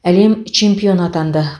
әлем чемпионы атанды